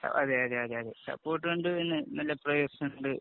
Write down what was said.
അതേയതെ അതേയതെ അതേ. സപ്പോര്‍ട്ട് ഉണ്ട്. പിന്നെ നല്ല പ്ലയേഴ്സ് ഉണ്ട്..